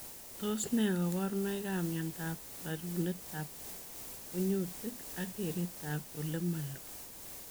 Tos nee kabarunoik ap miondoop rerunet ap kunyutik ak keret ap olemaloo